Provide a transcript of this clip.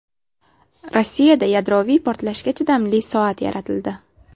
Rossiyada yadroviy portlashga chidamli soat yaratildi.